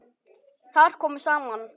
Þar komu saman